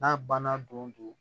N'a banna don o don